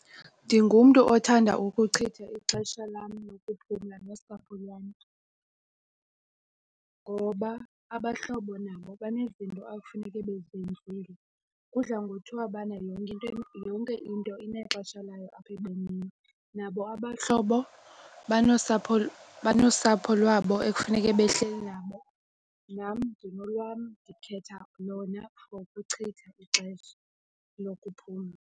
Ndingumntu othanda ukuchitha ixesha lam lokuphumla nosapho lwam ngoba abahlobo nabo banezinto ekufuneke bezenzile. Kudla ngothiwa bana yonke into inexesha layo apha ebomini. Nabo abahlobo banosapho lwabo ekufuneke behleli nabo nam ndinolwam. Ndikhetha lona for ukuchitha ixesha lokuphumla.